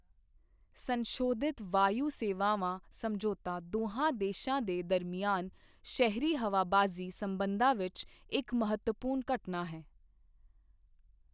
ਸੰਸ਼ੋਧਿਤ ਵਾਯੂ ਸੇਵਾਵਾਂ ਸਮਝੌਤਾ ਦੋਹਾਂ ਦੇਸ਼ਾਂ ਦੇ ਦਰਮਿਆਨ ਸ਼ਹਿਰੀ ਹਵਾਬਾਜ਼ੀ ਸਬੰਧਾਂ ਵਿੱਚ ਇੱਕ ਮਵੱਤਵਪੂਰਨ ਘਟਨਾ ਹੈ।